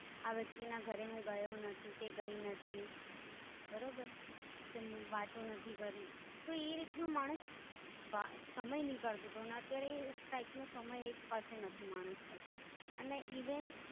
આ વ્યક્તિ ના ઘરે હું ગયો નથી કે ગઈ નથી બરોબર કે વાતો નથી કરી, તો એ રીતનું માણસ વા સમય નીકળતો હતો ને અત્યારે એ Type નો એક પાસે નથી માણસ પાસે. અને ઈવન.